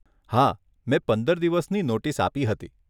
હા, મેં પંદર દિવસની નોટિસ આપી હતી.